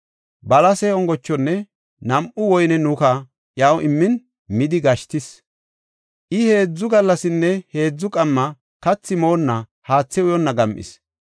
Balase ongochonne nam7u woyne nuka iyaw immin midi gashtisis. I heedzu gallasinne heedzu qamma kathi moonna haathe uyonna gam7is.